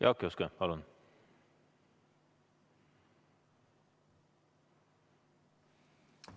Jaak Juske, palun!